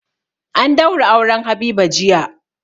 An daura auren Habiba jiya.